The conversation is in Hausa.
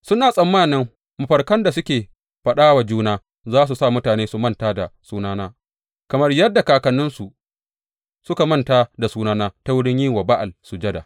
Suna tsammanin mafarkan da suke faɗa wa juna za su sa mutane su manta da sunana, kamar yadda kakanninsu suka manta da sunana ta wurin yin wa Ba’al sujada.